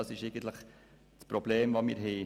Dies ist unser Problem mit dieser Planungserklärung.